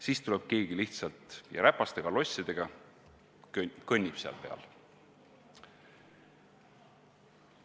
Siis tuleb keegi lihtsalt ja räpaste kalossidega kõnnib seal peal.